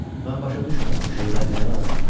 Mən başa düşmürəm bu şeylər nəyə lazımdır.